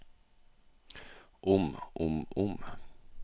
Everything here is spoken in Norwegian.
om om om